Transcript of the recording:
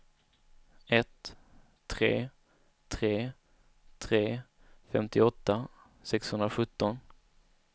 ett tre tre tre femtioåtta sexhundrasjutton